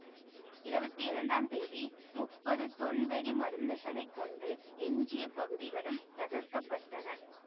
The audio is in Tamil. இருபத்தி இரண்டாம் தேதி முப்பது தொன் வெடி மருந்துகளைக் கொண்டு எஞ்சிய பகுதிகளும் தகர்க்க பட்டன